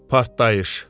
Partlayış.